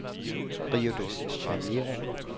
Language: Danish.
Rio de Janeiro